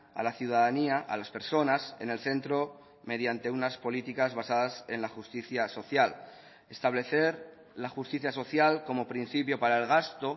a la ciudadanía a las personas en el centro mediante unas políticas basadas en la justicia social establecer la justicia social como principio para el gasto